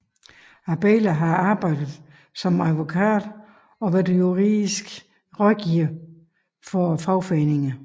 Abela har arbejdet som advokat og været juridisk rådgiver for fagforeninger